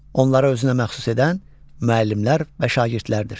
Onları özünə məxsus edən müəllimlər və şagirdlərdir.